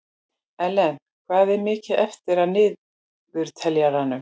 Ellen, hvað er mikið eftir af niðurteljaranum?